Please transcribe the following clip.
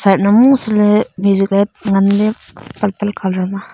yet nan musi ley misih ley ngan ley palpal kalar ma.